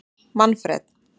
Manfred